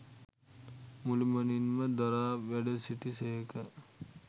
මුළුමනින්ම දරා වැඩසිටි සේක